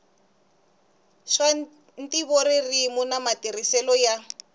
swa ntivoririmi na matirhiselo ya